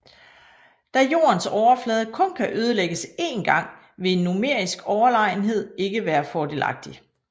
Da Jordens overflade kun kan ødelægges én gang vil en numerisk overlegenhed ikke være fordelagtig